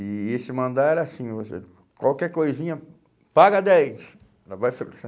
E esse mandar era assim, você qualquer coisinha, paga dez!